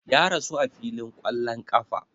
Ya rasu a filin ƙwallon ƙafa